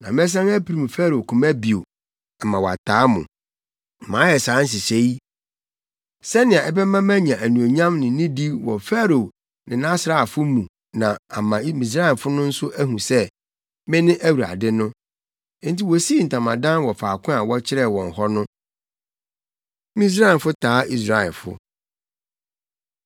Na mɛsan apirim Farao koma bio ama wataa mo. Mayɛ saa nhyehyɛe yi, sɛnea ɛbɛma manya anuonyam ne nidi wɔ Farao ne nʼasraafo mu na ama Misraimfo no nso ahu sɛ, mene Awurade no.” Enti wosii ntamadan wɔ faako a wɔkyerɛɛ wɔn hɔ no. Misraimfo Taa Israelfo